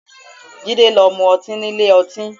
Jide lọ mu ọtí nílé ọtí